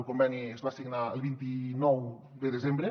el conveni es va signar el vint nou de desembre